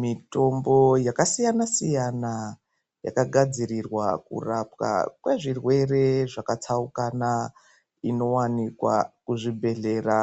Mitombo yakasiyana-siyana yakagadzirirwa kurapwa kwezvirwere zvakatsaukana inowanikwa kuzvibhedhlera